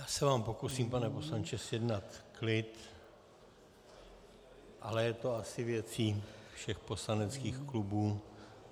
Já se vám pokusím, pane poslanče, zjednat klid, ale je to asi věcí všech poslaneckých klubů.